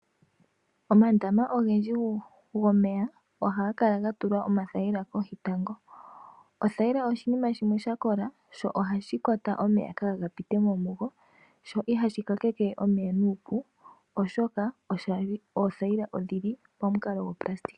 Omandama ogendji gomeya ohaga kala ga tulwa othayila kohi tango. Othayila oshinima shimwe sha kola sho ohashi kwata omeya kaga pitemo mugo sho ihashi kakeke omeya nuupu oshoka oothayila odhili pamukalo gwo nayilona.